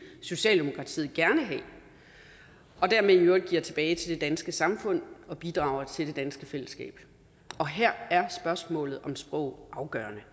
socialdemokratiet gerne have og dermed i øvrigt giver tilbage til det danske samfund og bidrager til det danske fællesskab her er spørgsmålet om sprog afgørende